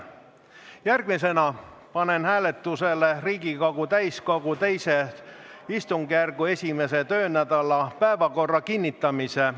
Järgmisena panen hääletusele Riigikogu täiskogu II istungjärgu 1. töönädala päevakorra kinnitamise.